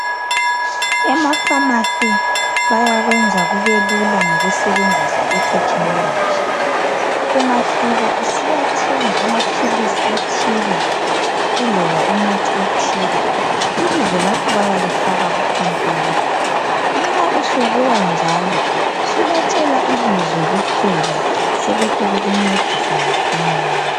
Emaphamarcy bayakwenza kube Lula ngokusebenzisa I technology ungafika usiyathenga amaphilisi athile iloba umuthi othile ibizo lakho bayalifaka ku computer nxa usubuya njalo subatshela ibizo kuphela sebehle bekuncedisa masinyane.